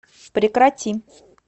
прекрати